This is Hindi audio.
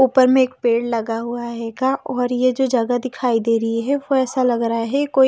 ऊपर में एक पेड़ लगा हुआ है का और ये जो जगह दिखाई दे रही है वो ऐसा लग रहा है।